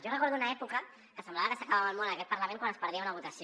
jo recordo una època que semblava que s’acabava el món en aquest parlament quan es perdia una votació